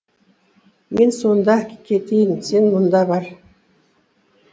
мен сонда кетейін сен мұнда бар